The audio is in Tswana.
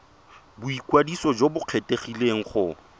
boikwadiso jo bo kgethegileng go